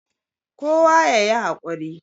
kowa ya yi hakuri